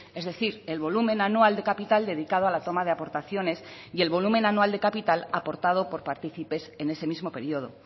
es decir el volumen anual de capital dedicado a la toma de aportaciones y el volumen anual de capital aportado por participes en ese mismo periodo